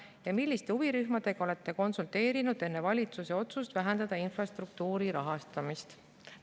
Ja kolmandaks, milliste huvirühmadega olete konsulteerinud enne valitsuse otsust vähendada infrastruktuuri rahastamist?